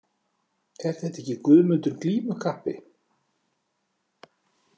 Er þetta ekki Guðmundur glímukappi?